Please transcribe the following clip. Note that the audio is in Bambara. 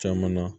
Caman na